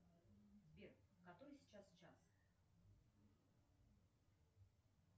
сбер который сейчас час